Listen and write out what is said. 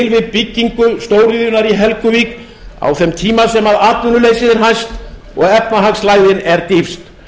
við byggingu stóriðjunnar í helguvík á þeim tíma sem atvinnuleysið er hæst og efnahagslægðin er dýpst